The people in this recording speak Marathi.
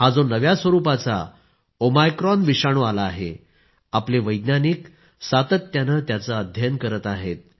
हा जो नव्या स्वरूपाचा ओमायक्रॉन विषाणू आला आहे आपले वैज्ञानिक सातत्याने त्याचे अध्ययन करत आहेत